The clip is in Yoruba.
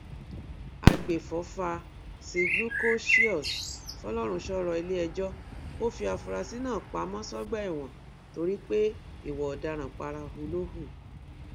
àgbẹfọfà zglucoseus folorunshò rọ iléẹjọ kò fi àfúráṣí náà pamọ sọgbà ẹwọn torí pé ìwà ọdaràn parahu ló hù